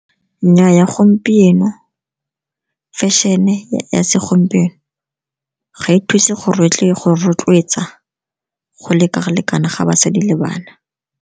Nnyaa, gompieno fešene ya segompieno ga e thuse go rotloetsa go leka-lekana ga basadi le bana.